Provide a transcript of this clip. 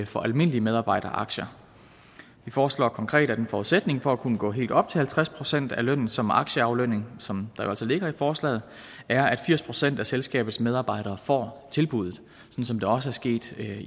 fra almindelige medarbejderaktier vi foreslår konkret at en forudsætning for at kunne gå helt op til halvtreds procent af lønnen som aktieaflønning som der jo altså ligger i forslaget er at firs procent af selskabets medarbejdere får tilbuddet sådan som det også er sket